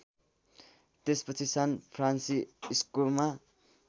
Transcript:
त्यसपछि सान फ्रान्सिस्कोमा